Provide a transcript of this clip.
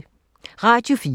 Radio 4